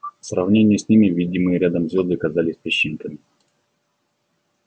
в сравнении с ними видимые рядом звезды казались песчинками